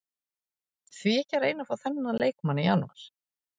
Því ekki að reyna að fá þennan leikmann í janúar?